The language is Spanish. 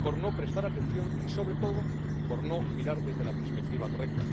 por no prestar atención y sobre todo por no mirar desde la perspectiva correcta.